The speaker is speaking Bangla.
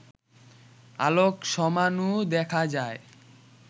আলোক সমাণু দেখা যায়